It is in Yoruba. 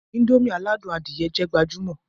Indomie aládùn adìẹ jẹ́ gbajúmò